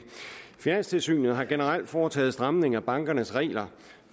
finanstilsynet har generelt foretaget stramninger af bankernes regler